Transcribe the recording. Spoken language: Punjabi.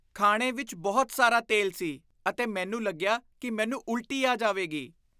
ਖਾਣੇ ਵਿੱਚ ਬਹੁਤ ਸਾਰਾ ਤੇਲ ਸੀ ਅਤੇ ਮੈਨੂੰ ਲੱਗਿਆ ਕਿ ਮੈਨੂੰ ਉਲਟੀ ਆ ਜਾਵੇਗੀ।